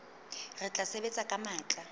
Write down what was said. re tla sebetsa ka matla